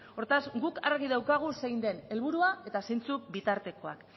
hortaz guk argi daukagu zein den helburua eta zeintzuk bitartekoak